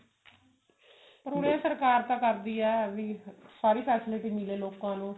ਹੁਣੇ ਸਰਕਾਰ ਤਾਂ ਕਰਦੀ ਹੈ ਵੀ ਸਾਰੀ facility ਮਿਲੇ ਲੋਕਾ ਨੂੰ